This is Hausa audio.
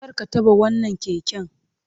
Kar ka taɓa wannan keken!